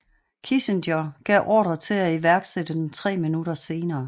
Kissinger gav ordre til at iværksætte den tre minutter senere